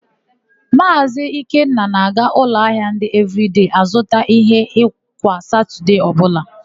Maazị Ikenna na-aga n'ụlọahịa ndị Evịrịdei azụta íhé kwa Satọdee ọbụla.